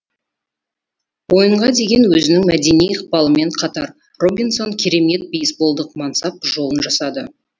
ойынға деген өзінің мәдени ықпалымен қатар робинсон керемет бейсболдық мансап жолын жасады